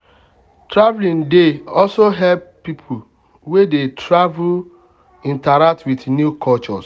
traveling dey also help people wey dey travel interact with new cultures.